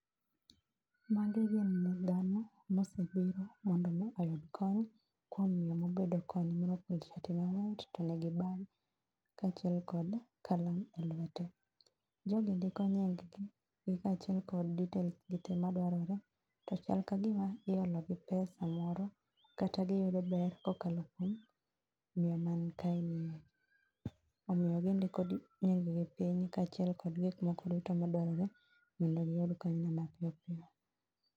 Magi gin dhano mosebiro mondo mi oyud kony kuom miyo mobedo koni morwako shati ma white to nigi bag, kaachiel kod kalam e lwete. Jogi ndiko nying gi, gi kaachiel kod details gitee madwarore. To chal ka gima iolo gi pesa moro kata giyudo ber kokalo kuom, miyo man kae nie. Omiyo gindiko nying gi piny kaachiel kod gik moko duto madwarore mondo giyud kony no mapiyopiyo